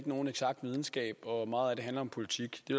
nogen eksakt videnskab og at meget af det handler om politik det